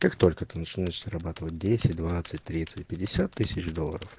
как только ты начнёшь зарабатывать десять двадцать тридцать пятьдесят тысяч долларов